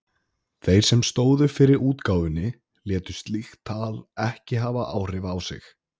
Þeir sem stóðu fyrir útgáfunni létu slíkt tal ekki hafa áhrif á sig.